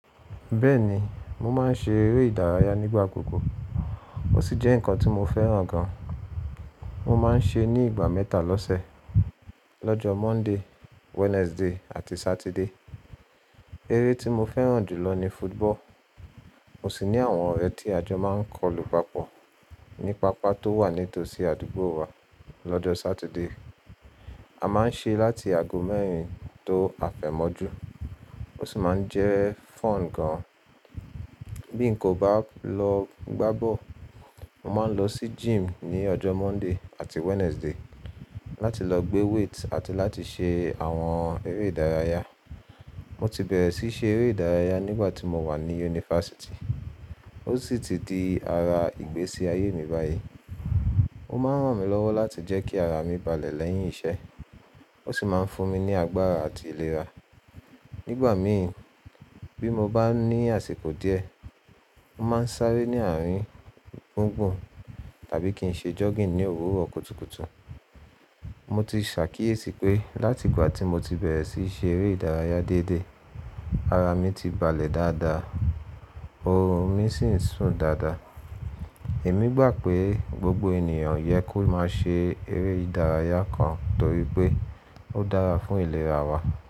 Bẹ́ẹ̀ni, mo máa ń ṣe eré ìdárayá nígbà gbogbo. Ó sì jẹ́ nǹkan tí mo fẹ́ràn gan. Mo máa ń ṣe ní ìgbà mẹ́ta lọ́sẹ̀: lọ́jọ́ Monday, Wednesday àti Saturday. Eré tí mo fẹ́ràn jù lọ ni football. Mo sì ní àwọn ọ̀rẹ́ tí a jọ máa ń kọ lu papọ̀ ní pápá tó wà nítòsí àdúgbò wa lọ́jọ́ Saturday. A máa ń ṣe láti ago mẹ́rin tó àfẹ̀mọ́jú. Ó sì máa ń jẹ́ fun gan-an. Bí n kò bá lọ gbá bọ́ọ̀lù, mo máa ń lọ sí gym ní ọjọ́ Monday àti Wednesday láti lọ gbé weight àti láti ṣe àwọn eré ìdárayá. Mo ti bẹ̀rẹ̀ sí ṣe eré ìdárayá nígbà tí mo wà ní yunifásítì. Ó sì ti di ara ìgbésí ayé mi báyìí. Ó máa ń ràn mí lọ́wọ́ láti jẹ́ kí ara mi balẹ̀ lẹ́yìn iṣẹ́. Ó sì máa ń fún mi ní agbára àti ìlera. Nígbà mí, bí mo bá ní àsìkò díẹ̀, mo máa ń sáré ní àárín gbùngbùn tàbí kí n ṣe jogging ní òwúrọ̀ kùtùkùtù. Mo ti ṣàkíyèsí pé láti ìgbà tí mo ti bẹ̀rẹ̀ sí ṣe eré ìdárayá dédé, ara mi ti balẹ̀ dáadáa, orun mí sì ń sùn dáadáa. Èmi gbà pé gbogbo ènìyàn yẹ kó má ṣe eré ìdárayá kan torí pé ó dára fún ìlera wa.